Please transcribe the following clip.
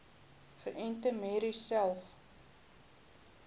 geënte merries selfs